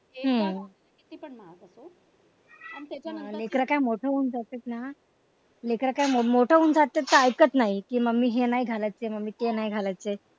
हम्म लेकरं काय मोठं होऊन जातेत ना लेकरं काय मोठं होऊन जातेत तर काय ऐकत नाहीत कि मम्मी हे नाही घालायचय ते नाही घालायचय.